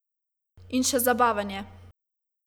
In še zabaven je.